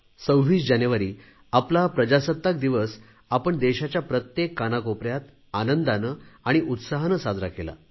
26 जानेवारी आपला प्रजासत्ताक दिवस आपण देशाच्या प्रत्येक कानाकोपऱ्यात आनंदाने आणि उत्साहाने साजरा केला